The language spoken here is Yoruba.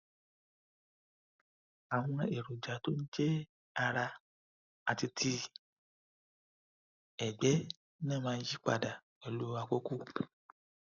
àwọn èròjà tó ń jẹ ara àti ti ẹgbẹ náà máa ń yí padà pẹlú àkókò